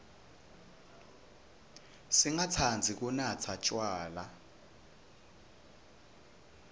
singatsandzi kunatsa tjwala